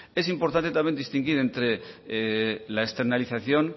es importante también distinguir entre la externalización